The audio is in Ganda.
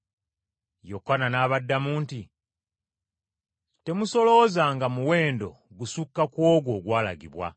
Yokaana n’abaddamu nti, “Temusoloozanga muwendo gusukka ku ogwo ogwalagibwa.”